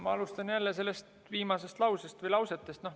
Ma alustan jälle sellest viimasest lausest.